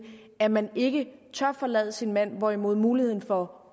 at man ikke tør forlade sin mand hvorimod muligheden for